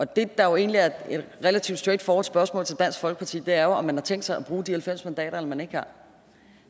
det der jo egentlig er et relativt straight forward spørgsmål til dansk folkeparti er om man har tænkt sig at bruge de halvfems mandater eller man ikke har